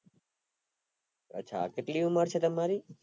અચ્છા કેટલી ઉમર છે તમારી